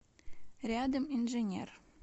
рядом инженер